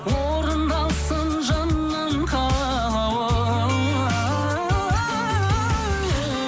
орындалсын жаным қалауың